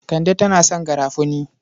Kande tana son garafuni.